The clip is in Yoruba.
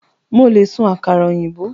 Mo le sun àkàrà òyìnbó